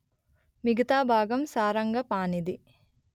మిగతా భాగం సారంగపాణిది